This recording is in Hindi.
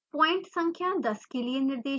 पॉइंट संख्या 10 के लिए निर्देशांक प्रविष्ट करें